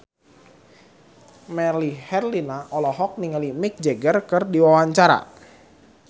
Melly Herlina olohok ningali Mick Jagger keur diwawancara